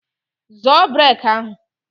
Zọọ brek ahụ!